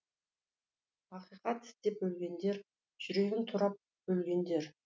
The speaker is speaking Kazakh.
ақиқат іздеп өлгендер жүрегін турап бөлгендер